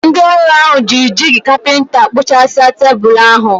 Ndị ọrụ ahụ jiri jigi kapinta kpụ̀chàsia tebụl ahụ.